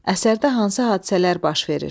Əsərdə hansı hadisələr baş verir?